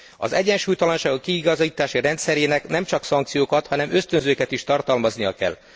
Az egyensúlytalanságok kiigazítási rendszerének nem csak szankciókat, hanem ösztönzőket is tartalmaznia kell.